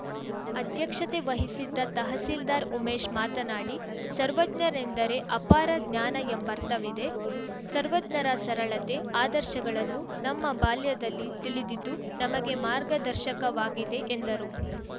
ಅಧ್ಯಕ್ಷತೆ ವಹಿಸಿದ್ದ ತಹಸೀಲ್ದಾರ್‌ ಉಮೇಶ್‌ ಮಾತನಾಡಿ ಸರ್ವಜ್ಞನೆಂದರೆ ಅಪಾರ ಜ್ಞಾನ ಎಂಬರ್ಥವಿದೆ ಸರ್ವಜ್ಞರ ಸರಳತೆ ಆದರ್ಶಗಳನ್ನು ನಮ್ಮ ಬಾಲ್ಯದಲ್ಲಿ ತಿಳಿದಿದ್ದು ನಮಗೆ ಮಾರ್ಗದರ್ಶಕವಾಗಿದೆ ಎಂದರು